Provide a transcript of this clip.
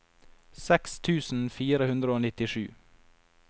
seks tusen fire hundre og nittisju